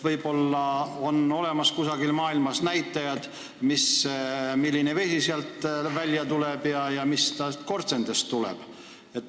Võib-olla on kusagil maailmas näha, milline vesi sealt tehasest välja tuleb ja mis sealt korstendest tuleb?